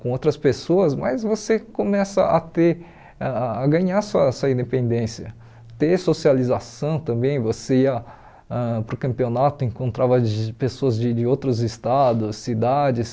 com outras pessoas, mas você começa a ter a a ganhar sua sua independência, ter socialização também, você ia ãh para o campeonato e encontrava de pessoas de de outros estados, cidades.